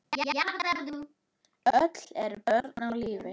Öll eru börnin á lífi.